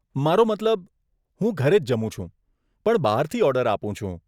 મારો મતલબ, હું ઘરે જ જમું છું પણ બહારથી ઓર્ડર આપું છું.